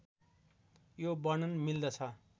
यो वर्णन मिल्दछ